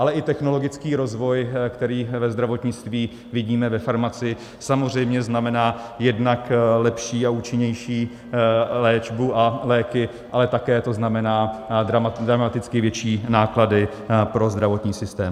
Ale i technologický rozvoj, který ve zdravotnictví vidíme ve farmacii, samozřejmě znamená jednak lepší a účinnější léčbu a léky, ale také to znamená dramaticky větší náklady pro zdravotní systém.